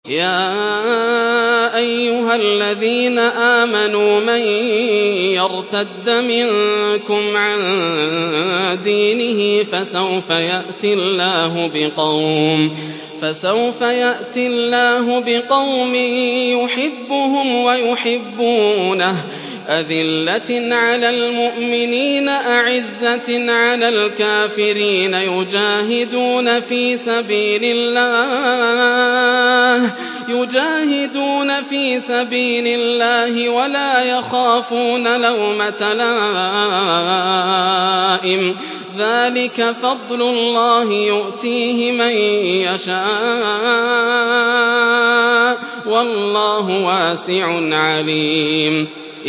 يَا أَيُّهَا الَّذِينَ آمَنُوا مَن يَرْتَدَّ مِنكُمْ عَن دِينِهِ فَسَوْفَ يَأْتِي اللَّهُ بِقَوْمٍ يُحِبُّهُمْ وَيُحِبُّونَهُ أَذِلَّةٍ عَلَى الْمُؤْمِنِينَ أَعِزَّةٍ عَلَى الْكَافِرِينَ يُجَاهِدُونَ فِي سَبِيلِ اللَّهِ وَلَا يَخَافُونَ لَوْمَةَ لَائِمٍ ۚ ذَٰلِكَ فَضْلُ اللَّهِ يُؤْتِيهِ مَن يَشَاءُ ۚ وَاللَّهُ وَاسِعٌ عَلِيمٌ